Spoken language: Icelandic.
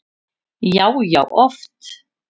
Já, já oft.